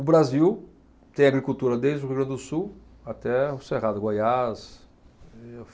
O Brasil tem agricultura desde o Rio Grande do Sul até o Cerrado, Goiás.